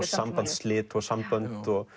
sambandsslit og sambönd